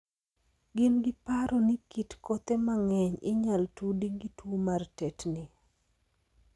Gin gi paro ni kit kothe mang'eny inyal tudi gi tuo mar tetni ni.